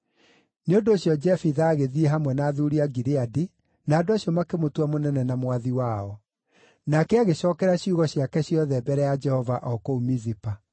Nĩ ũndũ ũcio Jefitha agĩthiĩ hamwe na athuuri a Gileadi, na andũ acio makĩmũtua mũnene na mwathi wao. Nake agĩcookera ciugo ciake ciothe mbere ya Jehova o kũu Mizipa.